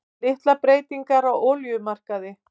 Litlar breytingar á olíumarkaði